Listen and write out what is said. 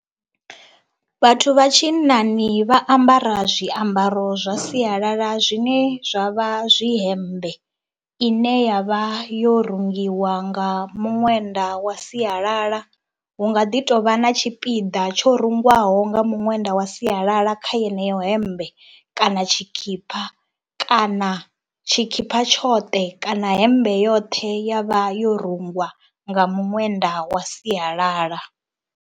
Vhathu vha tshinnani vha ambara zwiambaro zwa sialala zwine zwa vha zwi hemmbe ine ya vha yo rungiwa nga muṅwenda wa sialala, hu nga ḓi tou vha na tshipiḓa tsho rengwaho nga muṅwenda wa sialala kha yeneyo hemmbe kana tshikhipha kana tshikhipha tshoṱhe kana hemmbe yoṱhe ya vha yo rungwa nga muṅwenda wa sialala.